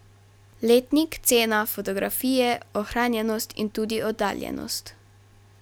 Letnik, cena, fotografije, ohranjenost in tudi oddaljenost.